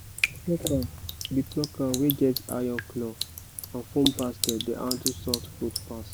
plucker the plucker wey get iron claw and foam basket dey handle soft fruit pass